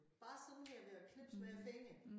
Bare sådan her ved at knipse med æ fingre